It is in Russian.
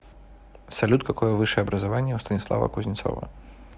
салют какое высшее образование у станислава кузнецова